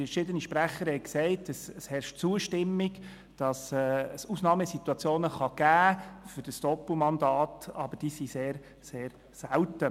Verschiedene Sprecher haben gesagt, es herrsche Einigkeit, dass es Ausnahmesituationen geben könne, die ein Doppelmandat nötig machen würden, aber diese seien sehr, sehr selten.